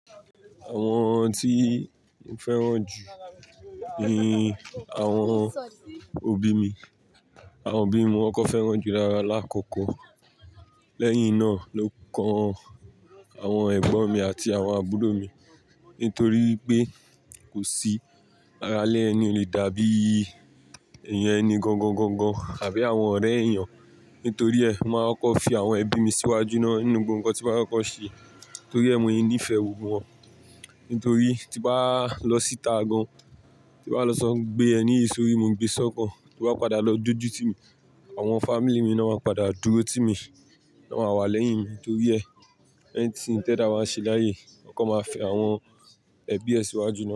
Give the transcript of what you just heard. Àwọn tí mo fẹ́ràn jù ni àwọn òbí mi. Àwọn òbí mi mo kọkọ fẹ́ràn jù láàkọ́kọ́. Lẹ́yìn náà ló kan àwọn ẹ̀gbọ́n mi àti àwọn àbúrò mi. Nítorí pé kò sí ara ilè ẹni le dàbí èèyàn ẹni gangan gangan àbí àwọn ọ̀rẹ́ èèyàn. Nítorí ẹ, mo máa n kọkọ fi àwọn ẹbí mi síwájú náà nínú gbogbo nǹkan tí ba fẹ kọkọ ṣe. Nítorí ẹ́, mo ní ìfẹ́ gbogbo wọn. Nítorí tí bá lọ síta gan, tí bá lọ sọ gbé ẹ ní yi s'òrí, mo gbé e sọ́kàn. Tí wà padà lọ dójú ti mi, àwọn family mi ni wọn máa padà dúró ti mi. Wọ́n máa wà lẹ́yìn mi. Nítorí ẹ, anything t'ẹdá ba ṣe láàyè yi. Ko kan máa fi àwọn ẹbí ẹ síwájú.